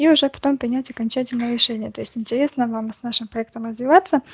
и уже потом принять окончательное решение то есть интересно вам с нашим проектом развиваться